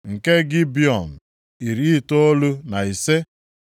nke Gibiọn, iri itoolu na ise (95).